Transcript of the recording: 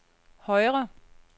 højre